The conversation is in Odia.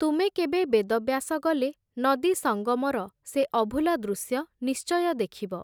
ତୁମେ କେବେ ବେଦବ୍ୟାସ ଗଲେ, ନଦୀ ସଙ୍ଗମର ସେ ଅଭୂଲା ଦୃଶ୍ୟ, ନିଶ୍ଚୟ ଦେଖିବ ।